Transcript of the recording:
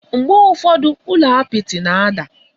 Mgbe ụfọdụ, ụlọ apịtị na-ada.